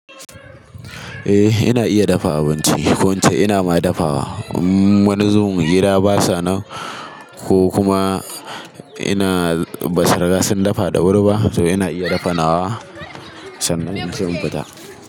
Eh ina iya dafa abinci. Ko ince ina ma dafawa. Wa zubin gida basa nan ko kuma ina ba su riga sun dafa da wuri ba to ina iya dafa nawa sannan inci in fita.